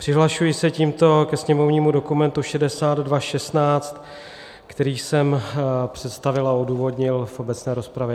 Přihlašuji se tímto ke sněmovnímu dokumentu 6216, který jsem představil a odůvodnil v obecné rozpravě.